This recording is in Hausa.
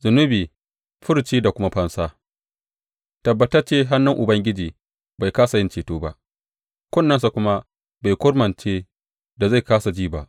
Zunubi, furci da kuma fansa Tabbatacce hannun Ubangiji bai kāsa yin ceto ba, kunnensa kuma bai kurmance da zai kāsa ji ba.